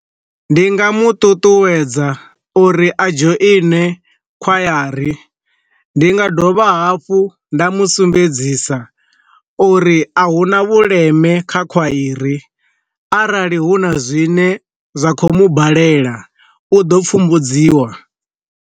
Ndi nga mu ṱuṱuwedza uri a dzhoine khwayari, ndi nga dovha hafhu nda musumbedzisa uri a hu na vhuleme kha khwairi, arali hu na zwine zwa kho mu balela u ḓo pfumbudziwa.